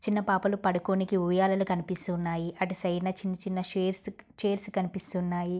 చిన్న పాపలు పడుకోనికి ఉయ్యాలలు కనిపిస్తూ ఉన్నాయి. అటు సైడ్ న చిన్న చిన్న ఛేర్సు -చైర్స్ కనిపిస్తున్నాయి.